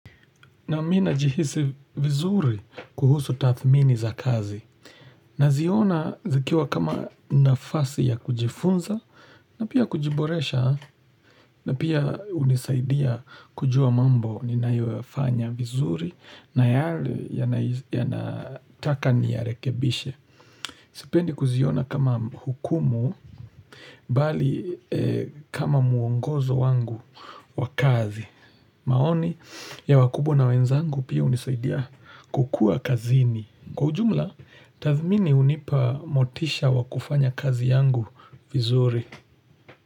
Na mina jihisi vizuri kuhusu tathmini za kazi. Na ziona zikiwa kama nafasi ya kujifunza na pia kujiboresha na pia unisaidia kujua mambo ninayo yafanya vizuri na yale ya nataka ni ya rekebishe. Sipendi kuziona kama hukumu bali kama muongozo wangu wa kazi. Maoni ya wakubwa na wenzangu pia unisaidia kukua kazini. Kwa ujumla, tathmini unipa motisha wakufanya kazi yangu vizuri.